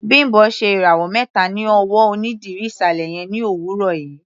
Bimbo ṣe ìràwọ̀ mẹta ní ọwọ́ onídìrí ìsàlẹ̀ yẹn ní òwúrọ̀ yìí.